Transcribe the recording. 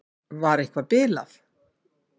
Var eitthvað bilað?